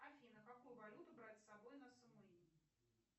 афина какую валюту брать с собой на самуи